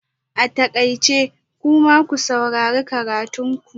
A takaice! kuma ku saurari karatun ku